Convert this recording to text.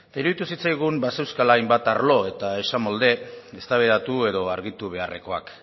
eta iruditu zitzaigun bazeuzkala hainbat arlo eta esamolde eztabaidatu edo argitu beharrekoak